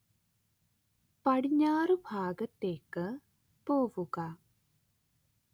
പടിഞ്ഞാറുഭാഗത്തേക്ക് പോവുക